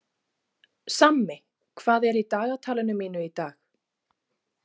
Sammi, hvað er í dagatalinu mínu í dag?